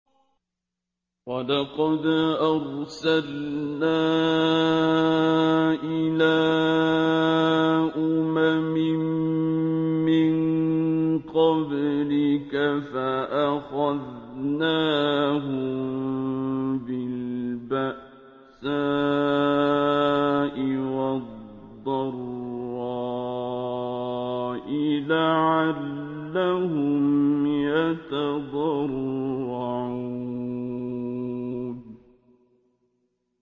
وَلَقَدْ أَرْسَلْنَا إِلَىٰ أُمَمٍ مِّن قَبْلِكَ فَأَخَذْنَاهُم بِالْبَأْسَاءِ وَالضَّرَّاءِ لَعَلَّهُمْ يَتَضَرَّعُونَ